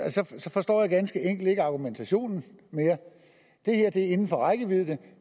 forstår jeg ganske enkelt ikke argumentationen mere det her er inden for rækkevidde men